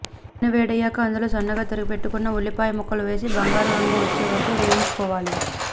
నూనె వేడయ్యాక అందులో సన్నగా తరిగి పెట్టుకొన్న ఉల్లిపాయ ముక్కలు వేసి బంగారు రంగు వచ్చే వరకూ వేగించుకోవాలి